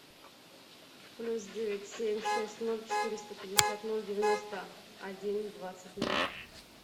плюс девять семь шесть ноль четыреста пятьдесят ноль девяносто один двадцать ноль